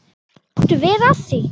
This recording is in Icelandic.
Máttu vera að því?